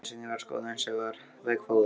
Einu sinni var skoðun sem var veggfóður.